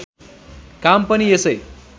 काम पनि यसै